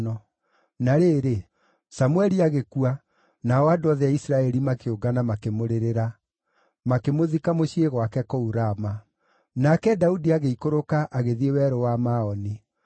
Na rĩrĩ, Samũeli agĩkua, nao andũ othe a Isiraeli makĩũngana makĩmũrĩrĩra; makĩmũthika mũciĩ gwake kũu Rama. Nake Daudi agĩikũrũka agĩthiĩ Werũ wa Maoni.